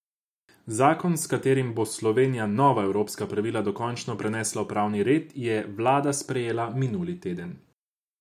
Zakon, s katerim bo Slovenija nova evropska pravila dokončno prenesla v pravni red, je vlada sprejela minuli teden.